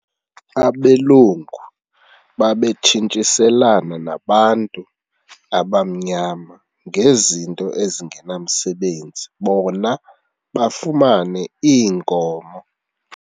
Abelungu babetshintshiselana nabantu abamnyama ngezinto ezingenamsebenzi bona bafumane iinkomo.